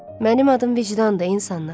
Mənim adım vicdandır insanlar.